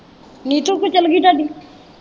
ਨਿੱਤੂ ਕਿੱਥੋ ਚੱਲ ਗਈ ਤੁਹਾਡੀ?